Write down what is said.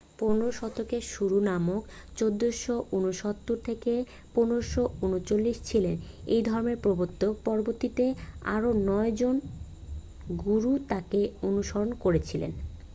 15 শতকে গুরু নানক 1469-1539 ছিলেন এই ধর্মের প্রবর্তক। পরবর্তীতে আরও 9 জন গুরু তাঁকে অনুসরণ করেছিলেন।